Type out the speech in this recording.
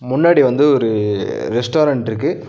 முன்னாடி வந்து ஒரு ரெஸ்டாரண்ட் இருக்கு.